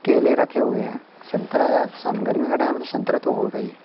केले रखे हुए हैं संतरा है सन गर्मी का टाइम है तो संतरा तो होगा ही।